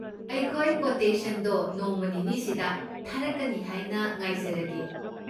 ꯑꯩꯈꯣꯏ ꯀꯣꯇꯦꯁꯟꯗꯣ ꯅꯣꯡꯃ ꯅꯤꯅꯤꯁꯤꯗ ꯊꯥꯔꯛꯀꯅꯤ ꯍꯥꯏꯅ ꯉꯥꯏꯖꯔꯒꯦ꯫